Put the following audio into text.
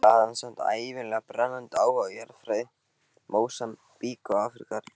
Eftir þetta hafði hann samt ævinlega brennandi áhuga á jarðfræði Mósambík og Afríku allrar.